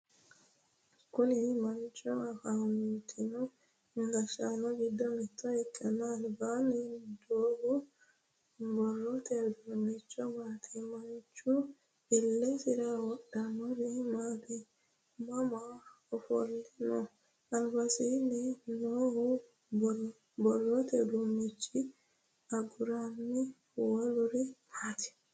Kunni manchi afantino gashaano gido mitto ikanna albasiinni doohu borrote udunchi maati? Manchu ilesira wodhinori maati? Mama ofele no? Albasiinni noohu borrote uduunicho aguranna woluri maati?